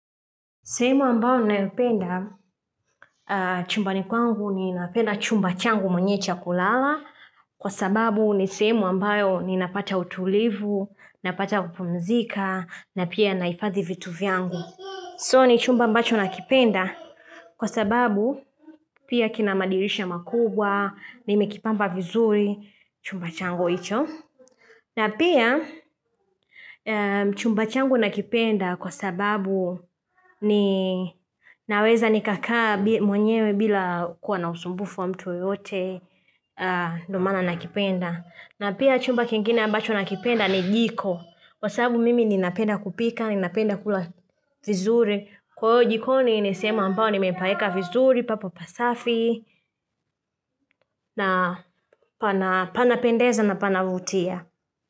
Simu ambayo ninayoipenda chumba ni kwangu ni napenda chumba changu mwenye cha kulala Kwa sababu ni sehemu ambayo ni napata utulivu, napata kupumzika na pia naifadhi vitu vyangu So ni chumba ambacho nakipenda kwa sababu pia kina madirisha makubwa, nimekipamba vizuri chumba changu hichi na pia chumba changu nakipenda kwa sababu ni naweza nikakaa mwenyewe bila kuwa na usumbufu wa mtu yote ndo maana nakipenda. Na pia chumba kingine ambacho nakipenda ni jiko. Kwa sababu mimi ni napenda kupika, ni napenda kula vizuri. Kwa yu jiko ni nisema ambao ni mempaeka vizuri, papo pasafi, na pana panapendeza na panavutia.